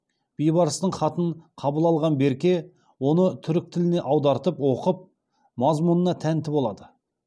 бейбарыстың хатын қабыл алған берке оны түрік тіліне аудартып оқып мазмұнына тәнті болады